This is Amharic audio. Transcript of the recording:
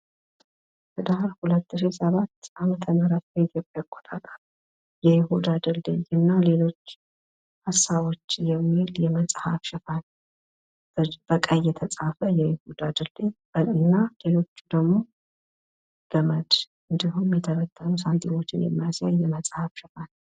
ህዳር 2007ዓም የይሁዳ ድልድይ እና ሌሎች ሀሳቦች የሚል የመፅሀፍ ሽፋን ፤የይሁዳ ድልድይ የሚለው በቀይ እንዲሁም ሌሎች ስ ገመድና ሳንትም የሚያሳይ ሽፋን ነው ።